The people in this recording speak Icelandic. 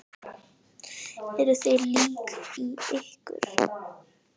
Eruð þið lík í ykkur?